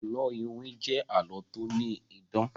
àlọ iwin jé àlọ to ni idán.